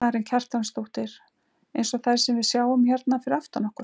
Karen Kjartansdóttir: Eins og þær sem við sjáum hérna fyrir aftan okkur?